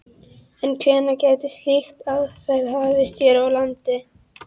En hvenær gæti slík aðferð hafist hér á landi?